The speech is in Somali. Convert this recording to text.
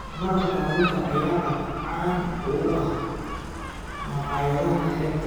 Maraqa kalluunka ayaa aad caan uga ah maqaayadaha xeebta.